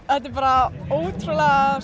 þetta er bara ótrúlega